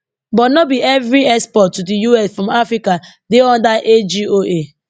but no be no be evri export to di us from africa dey under agoa